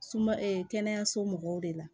Suma kɛnɛyaso mɔgɔw de la